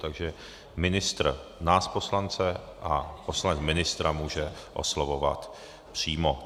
Takže ministr nás poslance a poslanec ministra může oslovovat přímo.